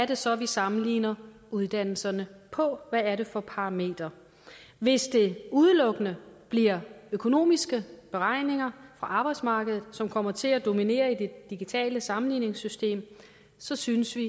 det så er vi sammenligner uddannelserne på baggrund hvad er det for parametre hvis det udelukkende bliver økonomiske beregninger for arbejdsmarkedet som kommer til at dominere i det digitale sammenligningssystem så synes vi